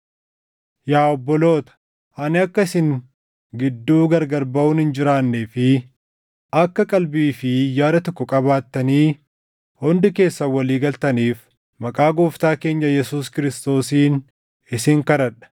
Yaa obboloota, ani akka isin gidduu gargar baʼuun hin jiraannee fi akka qalbii fi yaada tokko qabaattanii hundi keessan walii galtaniif maqaa Gooftaa keenya Yesuus Kiristoosiin isin kadhadha.